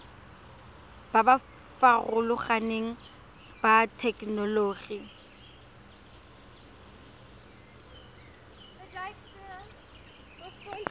ba ba farologaneng ba thetelelobokgoni